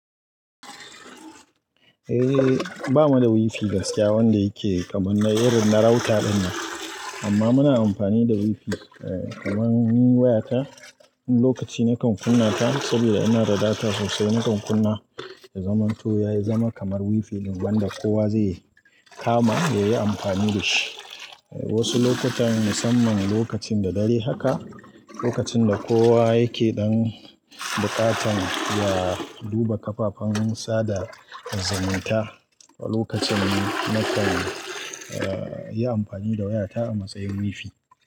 Eh, ba mu da WiFi gaskiya wanda yake kamar na irin na router dinnan. Amma muna amfani da WiFi kamar ni wayarta, lokaci na kan kunna ta saboda ina da data sosai na kan kunna. Ya zaman to yayizama kamar WiFi ɗin wanda kowa zai kama ya yi amfani da shi. Wasu lokutan musamman lokacin da dare haka, lokacin da kowa yake ɗan buƙatan ya duba kafafen sa da zumunta. Lokacin na kan, eh, yi amfani da wayata a matsayin WiFi.